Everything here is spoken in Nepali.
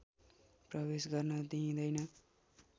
प्रवेश गर्न दिइँदैन